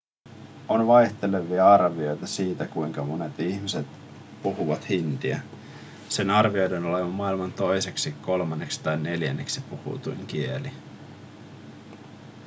on vaihtelevia arvioita siitä kuinka monet ihmiset puhuvat hindiä sen arvioidaan olevan maailman toiseksi kolmanneksi tai neljänneksi puhutuin kieli